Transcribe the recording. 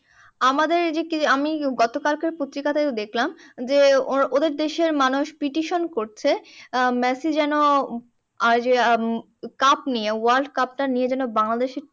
আমাদের এই যে আমি গতকালকের পত্রিকাতেও দেখলাম যে, ও~ ওদের দেশের মানুষ petition করছে আহ মেসি যেন আর আহ কাপ নিয়ে wrold cup টা নিয়ে যেন বাংলাদেশে